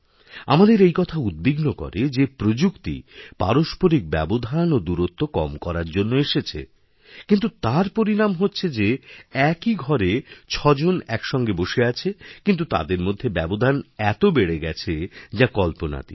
আমাদের এই কথা উদ্বিগ্ন করে যে প্রযুক্তি পারস্পরিক ব্যবধানও দূরত্ব কম করার জন্য এসেছে কিন্তু তার পরিণাম হচ্ছে যে একই ঘরে ছজন একসঙ্গেবসে আছে কিন্তু তাদের মধ্যে ব্যবধান এত বেড়ে গেছে যা কল্পনাতীত